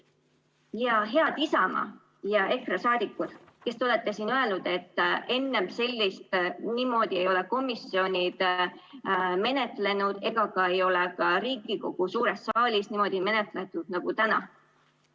Ja head Isamaa ja EKRE saadikud, kes te olete siin öelnud, et enne ei ole niimoodi komisjonid menetlenud ega ei ole ka Riigikogu suures saalis niimoodi menetletud nagu täna!